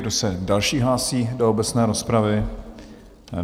Kdo se další hlásí do obecné rozpravy?